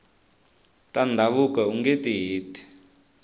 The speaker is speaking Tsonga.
ta ndhavuko ungeti heti